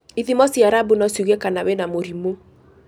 ithimo cia rabu no ciuge kana wĩna mũrimũ.